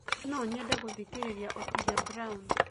no nyende gũthĩkĩrĩrĩa otile brown